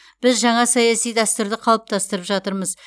біз жаңа саяси дәстүрді қалыптастырып жатырмыз